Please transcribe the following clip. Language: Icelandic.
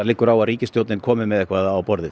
liggur á að ríkistjórnin komi með ietthvað á borðið